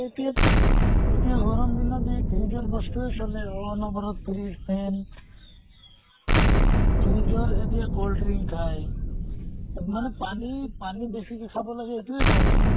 এতিয়া তʼ এতিয়া গৰম দিনত এই fridge ৰ বস্তুয়ে চলে। অনʼবৰত fridge, fan fridge ৰ এতিয়া cold drinks খায়। মানে পানী পানী বেছিকে খাব লাগে সেইটোয়ে কম এ